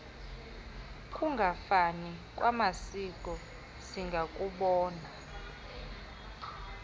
kungafani kwamasiko singakubona